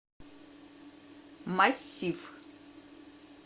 массив